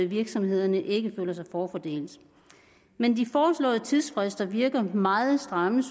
virksomhederne ikke føler sig forfordelt men de foreslåede tidsfrister virker synes vi meget stramme